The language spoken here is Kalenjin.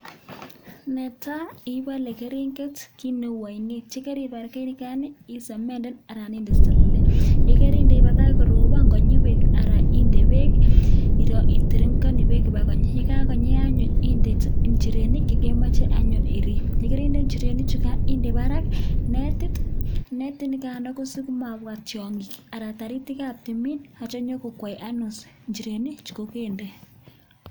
Netai ibale keringet kineu ainet ak yekaribal keringet nigan isemenden anan inde selele yekarinde ibakach korobon konyi bek anan inde bek iterektai bek Koba konyi ak yekakonyi anyun inde inchirenik chekemache anyun irib ak yegarinde inchirenik anyun inde Barak netit netit nikano kosimabwa tiangik anan ko taritik ab tuminyache konyo kokwai anyun inchirenik chekokende